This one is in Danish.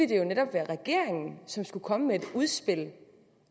det jo netop være regeringen som skulle komme med et udspil